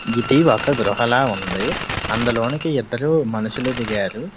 ఇది ఒక గృహ లా ఉంది. అందులోనికి ఇద్దరు మనుషులు దిగారు.